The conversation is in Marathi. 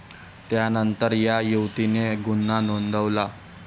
त्यांतर या युवतीने गुन्हा नोंदवला.